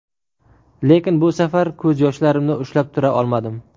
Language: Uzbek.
Lekin bu safar ko‘z yoshlarimni ushlab tura olmadim.